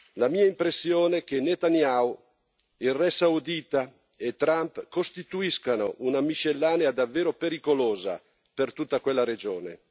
La mia impressione è che Netanyahu, il re saudita e Trump costituiscano una miscellanea davvero pericolosa per tutta quella regione.